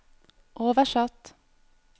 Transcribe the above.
oversatt